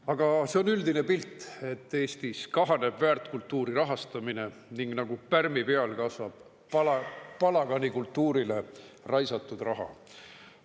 Aga see on üldine pilt, et Eestis kahaneb väärtkultuuri rahastamine ning nagu pärmi peal kasvab palaganikultuurile raisatud raha.